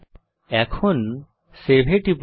এখন সেভ এ টিপুন